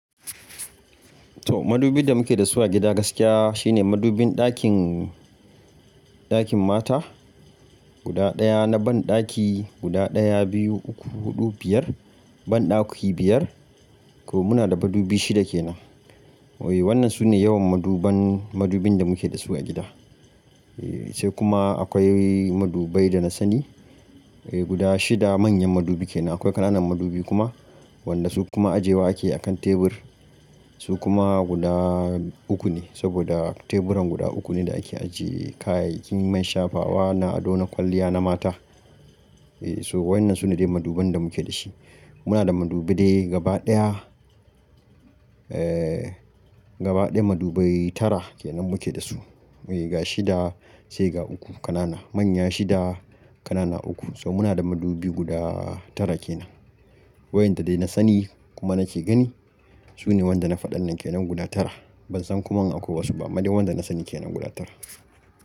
To madubin da muke da su a gida gaskiya shine madubin ɗakin, ɗakin mata guda ɗaya na banɗaki guda ɗaya, biyu, uku, huɗu, biyar banɗaki biyar. Ko muna da madubi shida kenan. Oye wannan sune yawan maduban, madubin da muke da su a gida. Eh sai kuma akwai madubai da na sani. Eh guda shida manyan madubi kenan. Akwai ƙananan madubi kuma wanda su kuma ajewa ake akan tebur. Su kuma guda uku ne saboda teburan guda uku ne da ake ajiye kayayyakin man shafawa na ado na kwalliya na mata. Eh so waƴannan sune dai maduban da muke da shi. Muna da madubi dai gaba ɗaya eh gaba ɗaya madubai tara kenan muke da su. Oye ga shida sai ga uku ƙanana. Manya shida ƙanana uku. So muna da madubi guda tara kenan. Waƴanda dai na sani kuma nake gani sune wanda na faɗan nan kenan guda tara. Ban san kuma in akwai wasu ba. Amma dai wanda na sani kenan guda tara.